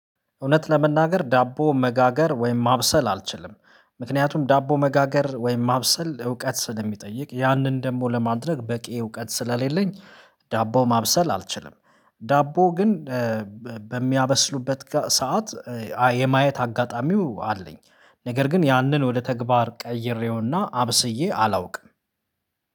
እውነት ለመናገር ዳቦ መጋገር ወይም ማብሰል አልችልም። ምክንያቱም ዳቦ መጋገር ወይም ማብሰል እውቀት ስለሚጠይቅ ያንን ደግሞ ለማድረግ በቂ እውቀት ስለሌለኝ ዳቦ ማብሰል አልችልም። ዳቦ ግን በሚያበስሉበት ሰዓት የማየት አጋጣሚው አለኝ ነገር ግን ያንን ወደ ተግባር ቀይሬውና አብስዬ አላውቅም